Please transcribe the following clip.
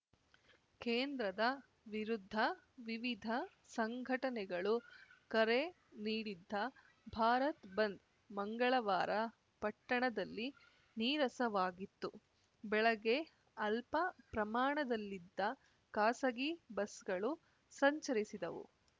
ಕೇಂದ್ರದ ವಿರುದ್ಧ ವಿವಿಧ ಸಂಘಟನೆಗಳು ಕರೆ ನೀಡಿದ್ದ ಭಾರತ್‌ ಬಂದ್‌ ಮಂಗಳವಾರ ಪಟ್ಟಣದಲ್ಲಿ ನೀರಸವಾಗಿತ್ತು ಬೆಳಗ್ಗೆ ಅಲ್ಪ ಪ್ರಮಾಣದಲ್ಲಿದ್ದ ಖಾಸಗಿ ಬಸ್‌ಗಳು ಸಂಚರಿಸಿದವು